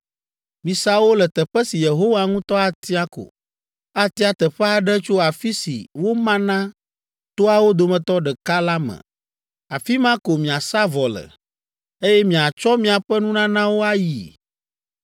misa wo le teƒe si Yehowa ŋutɔ atia ko. Atia teƒe aɖe tso afi si woma na toawo dometɔ ɖeka la me. Afi ma ko miasa vɔ le, eye miatsɔ miaƒe nunanawo ayi.